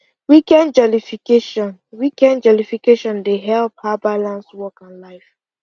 weekend jollification weekend jollification dey help her balance work and life